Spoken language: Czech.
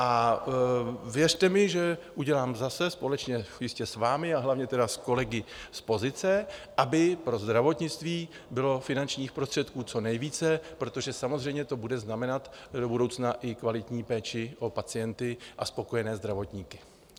A věřte mi, že udělám, zase společně jistě s vámi a hlavně tedy s kolegy z pozice, aby pro zdravotnictví bylo finančních prostředků co nejvíce, protože samozřejmě to bude znamenat do budoucna i kvalitní péči o pacienty a spokojené zdravotníky.